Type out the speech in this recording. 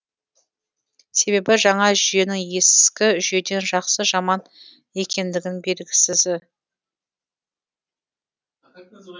себебі жаңа жүйенің ескі жүйеден жақсы жаман екендігі белгісіз